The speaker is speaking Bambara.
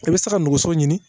I bɛ se ka nɛgɛso ɲini